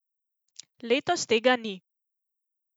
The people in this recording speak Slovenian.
Letos tega ni.